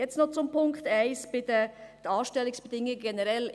Jetzt noch zum Punkt 1, zu den Anstellungsbedingungen generell.